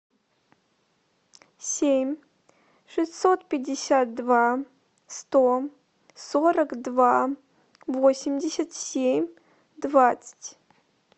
семь шестьсот пятьдесят два сто сорок два восемьдесят семь двадцать